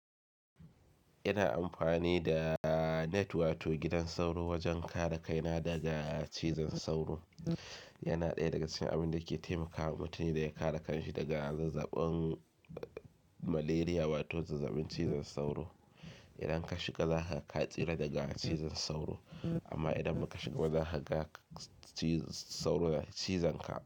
Ina amfani da net wato gidan sauro wajen kare kaina daga cizon sauro. Yana ɗaya daga cikin abin da ke taimakawa mutane da ya kare kanshi daga zazzabin malaria wato zazzabin cizon sauro. Idan ka shiga za ka tsira daga cizon sauro amma idan ba ka shiga ba za ka ga sauro yana cizon ka.